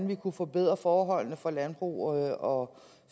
vi kunne forbedre forholdene for landbruget og